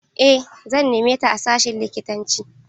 Eh, zan neme ta a sashin likitanci.